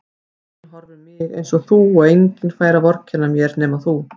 Enginn horfir yfir mig einsog þú og enginn fær að vorkenna mér nema þú.